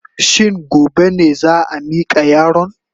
Shin gobe ne za a mika yaron?